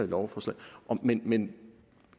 lovforslaget men